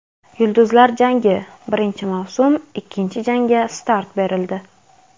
"Yulduzlar jangi": birinchi mavsum ikkinchi janga start berildi.